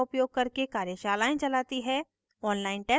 spoken tutorials का उपयोग करके कार्यशालाएं चलाती है